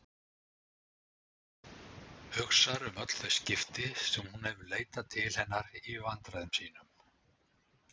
Hugsar um öll þau skipti sem hún hefur leitað til hennar í vandræðum sínum.